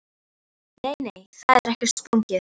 Nei, nei, það er ekkert sprungið.